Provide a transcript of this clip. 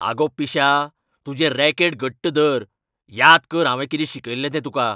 आगो पिश्या. तुजें रॅकेट घट्ट धर. याद कर हांवें कितें शिकयल्लें तें तुका.